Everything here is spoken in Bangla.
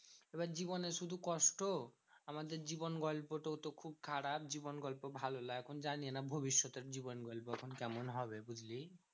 এবার জীবনে শুধু কষ্ট। আমাদের জীবন গল্প তো খুব খারাপ। জীবন গল্প ভালো লয়। এখন জানিনা ভবিষ্যতের জীবন গল্প এখন কেমন হবে বুঝলি?